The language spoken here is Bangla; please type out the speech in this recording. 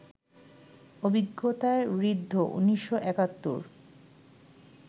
অভিজ্ঞতায় ঋদ্ধ ১৯৭১